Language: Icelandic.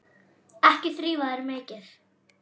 Ekki þrífa þær mikið.